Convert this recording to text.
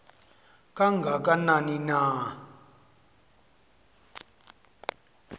kanga kanani na